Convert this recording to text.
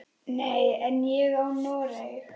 Nei, en ég á Noreg.